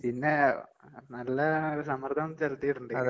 പിന്നെ നല്ല ഒരു സമ്മർദ്ദം ചെലുത്തീട്ട്ണ്ട്.